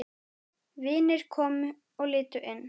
Vinir komu og litu inn.